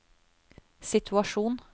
situasjon